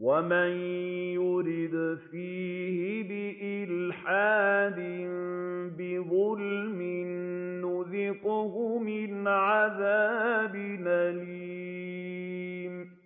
وَمَن يُرِدْ فِيهِ بِإِلْحَادٍ بِظُلْمٍ نُّذِقْهُ مِنْ عَذَابٍ أَلِيمٍ